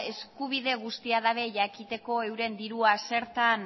eskubide guztia dabe jakiteko euren dirua zertan